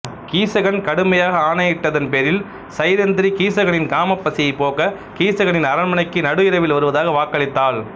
கீசகன் கடுமையாக ஆணையிட்டதின் பேரில் சைரந்திரி கீசகனின் காமப் பசியைப் போக்க கீசகனின் அரண்மனைக்கு நடு இரவில் வருவதாக வாக்களித்தாள்